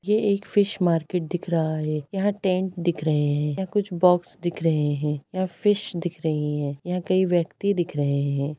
ये एक fish market दिख रहा है यहाँ टेंट दिख रहे है यहाँ कुछ बॉक्स दिख रहे है यहाँ फिश दिख रही है यहाँ कई व्यक्ति दिख रहे है।